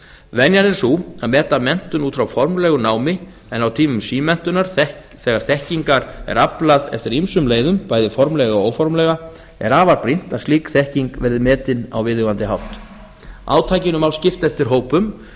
venjan er sú að meta menntun út frá formlegu námi en á tímum símenntunar þegar þekkingar er aflað eftir ýmsum leiðum bæði formlega og óformlega er afar brýnt að slík þekking verði metin á viðeigandi hátt átakinu má skipta eftir hópum